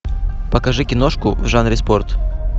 покажи киношку в жанре спорт